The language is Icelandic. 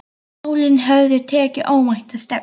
Málin höfðu tekið óvænta stefnu.